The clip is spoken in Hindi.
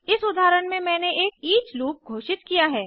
इस उदाहरण में मैंने एक ईच लूप घोषित किया है